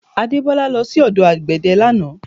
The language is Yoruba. Adebola lọ sí ọdọ àgbẹ̀dẹ̀ lánàá